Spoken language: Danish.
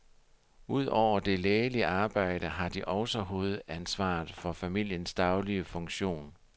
Ud over det lægelige arbejde har de også hovedsansvaret for familiens daglige funktion.